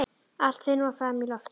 Allt fer nú fram í loftinu.